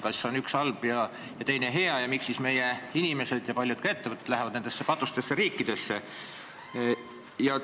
Kas üks on halb ja teine hea ning miks siis meie inimesed ja ka paljud ettevõtted lähevad ikkagi nendesse "patustesse" riikidesse?